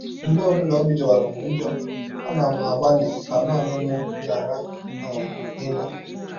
“ Mgbe ọ bụla ọbi jọwara m njọ, ana m agbalị ka naanị m ghara um ịnọ.